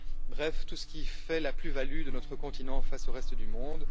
Bref, tout ce qui fait la plus value de notre continent face au reste du monde.